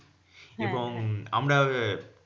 এবং আমরা আহ